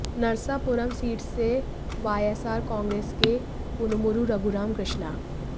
Narsapuram seat से YSR Congress के कनुमुरु रघुराम कृष्णा